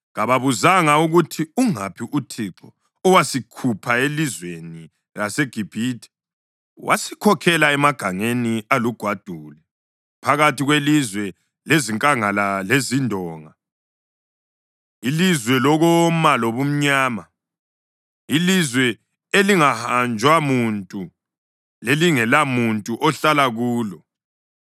Kababuzanga ukuthi, ‘Ungaphi uThixo, owasikhupha elizweni laseGibhithe wasikhokhela emagangeni alugwadule phakathi kwelizwe lezinkangala lezindonga, ilizwe lokoma lobumnyama, ilizwe elingahanjwa muntu lelingelamuntu ohlala kulo?’